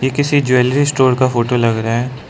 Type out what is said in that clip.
ये किसी jewellery store का फोटो लग रहा है।